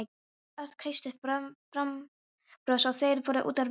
Örn kreisti fram bros og þeir fóru út úr vagninum.